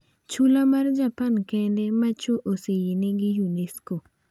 Chula mar Japan kende ma chwo oseyiene gi Unesco